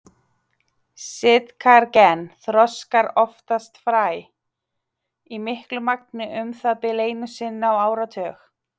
Sitkagreni þroskar oftast fræ, í miklu magni um það bil einu sinni á áratug.